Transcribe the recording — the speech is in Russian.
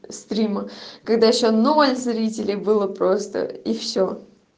стрим когда ещё ноль зрителей было просто и все